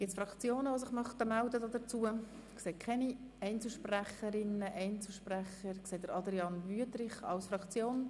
Die Fraktionen haben das Wort, zuerst Grossrat Wüthrich für die SP-JUSO-PSA-Fraktion.